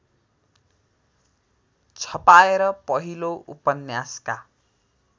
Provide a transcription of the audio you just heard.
छपाएर पहिलो उपन्यासका